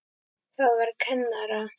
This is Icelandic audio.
Það var kennara